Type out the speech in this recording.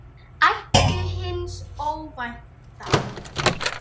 Væntu hins óvænta.